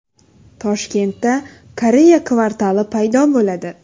Toshkentda Koreya kvartali paydo bo‘ladi.